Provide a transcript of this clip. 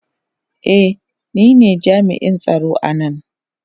Ee, ni ne jami'in tsaro a nan.